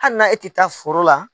Hali na e tɛ taa foro la.